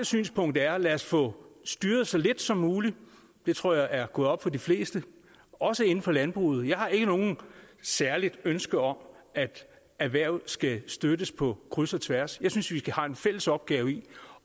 synspunkt er lad os få styret så lidt som muligt det tror jeg er gået op for de fleste også inden for landbruget jeg har ikke noget særligt ønske om at erhvervet skal støttes på kryds og tværs jeg synes vi har en fælles opgave i